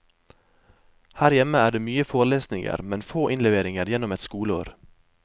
Her hjemme er det mye forelesninger, men få innleveringer gjennom et skoleår.